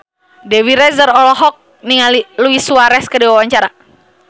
Dewi Rezer olohok ningali Luis Suarez keur diwawancara